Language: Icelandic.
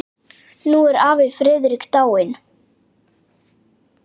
Nú er afi Friðrik dáinn.